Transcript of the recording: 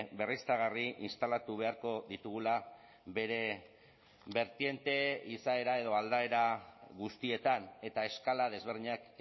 berriztagarri instalatu beharko ditugula bere bertiente izaera edo aldaera guztietan eta eskala desberdinak